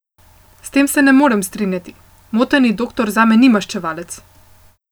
S tem se ne morem strinjati, moteni doktor zame ni maščevalec.